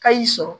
Ka y'i sɔrɔ